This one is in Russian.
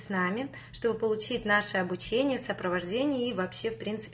с нами что бы получить обучение сопровождение и вообще